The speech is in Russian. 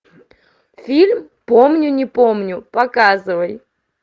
фильм помню не помню показывай